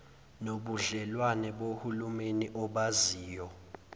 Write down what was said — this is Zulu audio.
nobudlelwane bohulumeni obaziwa